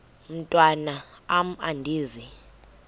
mntwan am andizi